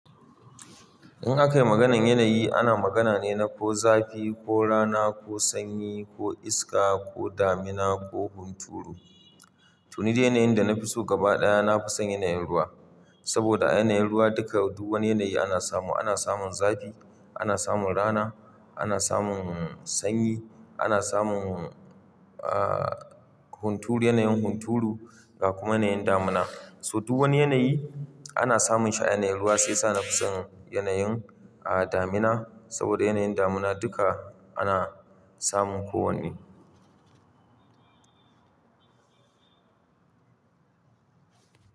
In aka yi maganan yanayi, ana magana ne na ko zafi ko rana ko sanyi ko iska ko damina ko hunturu. To ni dai yanayin da na fi so gaba ɗaya na fi son yanayin ruwa. Saboda a yanayin ruwa duka duk wani yanayi ana samu. Ana samun zafi, ana samun rana, ana samun sanyi, ana samun, uh, hunturu, yanayin hunturu ga kuma yanayin damina. So duk wani yanayi ana samun shi a yanayin ruwa shiya sa na fi son yanayin, ah, damina. Saboda yanayin damina duka ana samun kowanne.